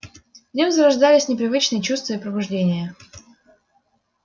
в нём зарождались непривычные чувства и побуждения